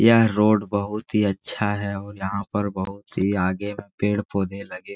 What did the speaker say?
यह रोड बहुत ही अच्छा है और यहाँ पर बहुत ही आगे पेड़-पौधे लगे --